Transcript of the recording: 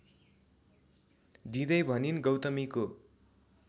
दिदै भनिन् गौतमीको